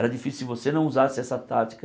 Era difícil se você não usasse essa tática.